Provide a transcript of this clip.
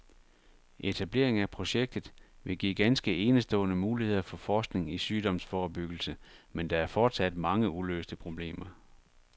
Etablering af projektet vil give ganske enestående muligheder for forskning i sygdomsforebyggelse, men der er fortsat mange uløste problemer.